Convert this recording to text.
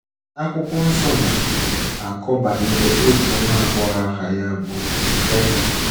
Akwụkwọ nsọ na - akọ banyere otu nwa agbọghọ aha ya bụ Ribeka.